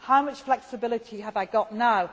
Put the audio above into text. How much flexibility have I got